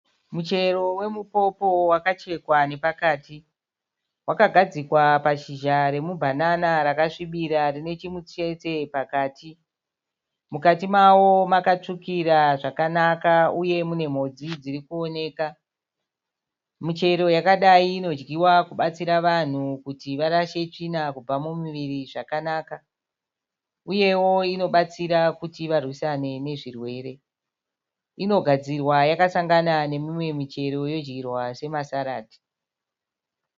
Michero wemupopo wakachekwa nepakati. Wakagadzigwa pashizha romubhanana rakasvibira rine chimutsetse pakati. Mukati mawo makatsvukira zvakanaka uye mune mhodzi dzirikuoneka. Michero yakadayi inodyiwa kubatsira vanhu kuti varashe tsvina kubva mumuviri uyewo inobatsira vanhu kuti varwisane nezvirwere. Inogadzirwa yakasangana nemimwe michero yodyiwa sema saradzi.